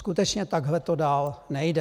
Skutečně takhle to dál nejde.